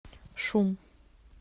шум